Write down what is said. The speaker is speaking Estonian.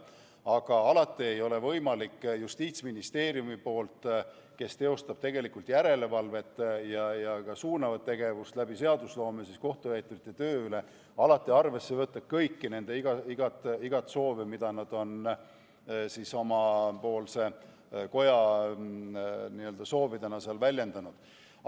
Aga alati ei ole võimalik Justiitsministeeriumil, kes teostab järelevalvet ja läbi seadusloome ka suunavat tegevust kohtutäiturite töö üle, arvesse võtta igat soovi, mida nad on oma koja soovidena väljendanud.